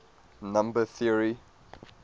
number theory